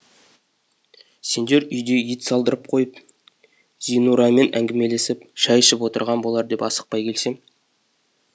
сендер үйде ет салдырып қойып зинурамен әңгімелесіп шай ішіп отырған болар деп асықпай келсем